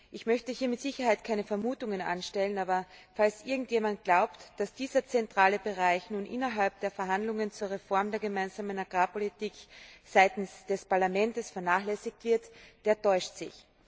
Ich möchte mit Sicherheit keine Vermutungen anstellen, aber falls irgendjemand glaubt, dass dieser zentrale Bereich nun innerhalb der Verhandlungen zur Reform der Gemeinsamen Agrarpolitik seitens des Parlaments vernachlässigt wird, dann täuscht er sich.